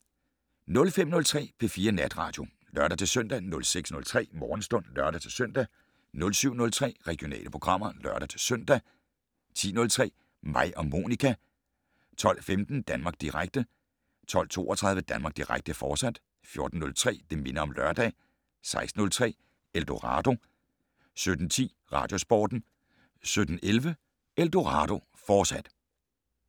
05:03: P4 Natradio (lør-søn) 06:03: Morgenstund (lør-søn) 07:03: Regionale programmer (lør-søn) 10:03: Mig og Monica 12:15: Danmark Direkte 12:32: Danmark Direkte, fortsat 14:03: Det' Minder om Lørdag 16:03: Eldorado 17:10: Radiosporten 17:11: Eldorado, fortsat